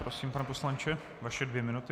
Prosím, pane poslanče, vaše dvě minuty.